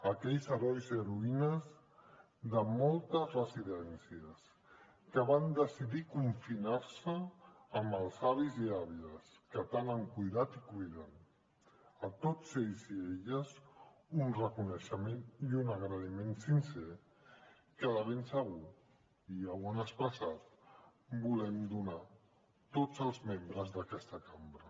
a aquells herois i heroïnes de moltes residències que van decidir confinar se amb els avis i àvies que tant han cuidat i cuiden a tots ells i elles un reconeixement i un agraïment sincer que de ben segur i ja ho han expressat volem donar tots els membres d’aquesta cambra